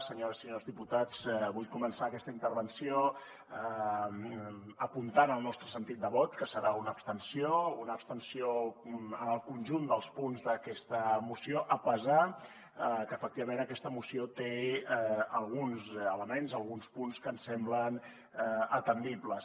senyores i senyors diputats vull començar aquesta intervenció apuntant el nostre sentit de vot que serà una abstenció una abstenció en el conjunt dels punts d’aquesta moció a pesar que efectivament aquesta moció té alguns elements alguns punts que ens semblen atendibles